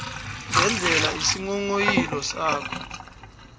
ngendlela isinghonghoyilo sakho